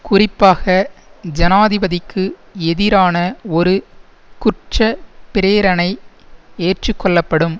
குறிப்பாக ஜனாதிபதிக்கு எதிரான ஒரு குற்ற பிரேரணை ஏற்றுக்கொள்ள படும்